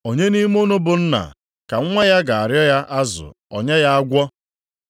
“Onye nʼime unu bụ nna, ka nwa ya ga-arịọ ya azụ, o nye ya agwọ?